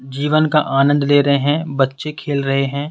जीवन का आनंद ले रहे हैं बच्चे खेल रहे हैं।